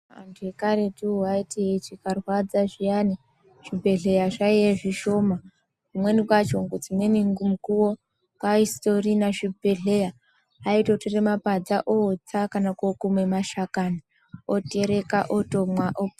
Antu akaretuwo aiti chikarwadza zviyani, zvibhedhleya zvaiye zvishoma. Kumweni kwacho dzimweni mukuwo kwaisitorina zvibhedhleya, aitotora mapadza ootsa kana kookume mashakani, otereka otomwa op...